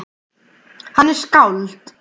Hann er skáld.